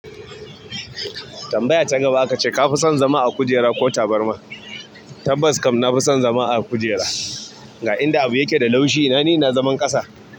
Tambaya ta gaba aka ce ka fi son zama a kujera ko tabarma? Tabbas kam na fi son zama a kujera, ga inda abu yake da laushi. Ina ni ina zaman ƙasa.